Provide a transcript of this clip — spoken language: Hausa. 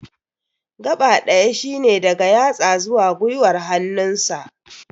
gaɓa ɗaya shine daga yatsu zuwa gwiwar hannun sa